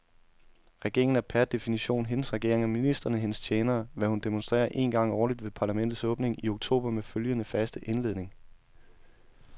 Regeringen er per definition hendes regering og ministrene hendes tjenere, hvad hun demonstrerer en gang årligt ved parlamentets åbning i oktober med følgende faste indledning.